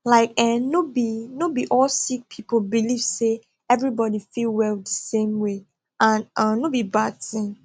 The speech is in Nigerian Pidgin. like eeh no be no be all sick people believe say everybody fit well di same way and um no be bad tin